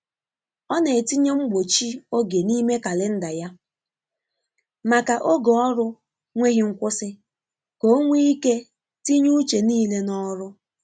Ọ na etinye mgbochi oge n'ime kalenda ya, maka oge ọrụ nweghi nkwụsi ka onwe ike tinye uche niile n’ọrụ.